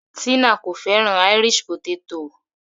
Tina kò fẹ́ràn Irish potato.